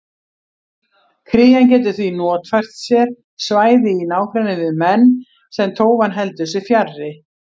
Krían getur því notfært sér svæði í nágrenni við menn sem tófan heldur sig fjarri.